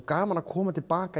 gaman að koma til baka